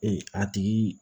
Ee a tigi